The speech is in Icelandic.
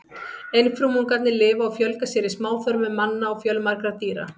Einfrumungarnir lifa og fjölga sér í smáþörmum manna og fjölmargra dýra.